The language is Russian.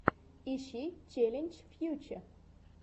ищи челлендж фьюче